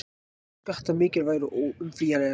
Skattar mikilvægir og óumflýjanlegir